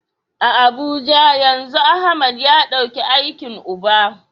A Abuja yanzu Ahmad ya dauki aikin uba.